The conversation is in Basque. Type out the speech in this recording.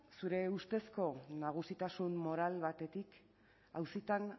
zure ustezko nagusitasun moral batetik auzitan